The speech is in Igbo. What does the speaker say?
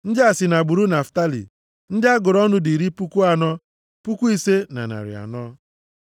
Ndị a si nʼagbụrụ Naftalị. Ndị a gụrụ ọnụ dị iri puku anọ, puku ise na narị anọ (45,400).